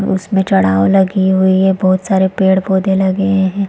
उसमे चड़ाव लगी हुई है बहुत सारे पेड़-पौधे लगे है।